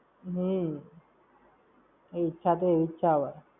હમ્મ. ઈચ્છા તો એવી જ છે હવે!